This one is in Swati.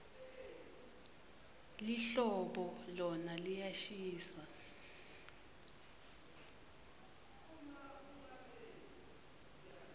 lihlobo lona liyashisa